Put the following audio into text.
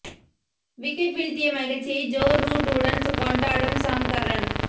wicket வீழ்த்திய மகிழ்ச்சியை Joe Root உடன் கொண்டாடும் சாம் கர்ரன்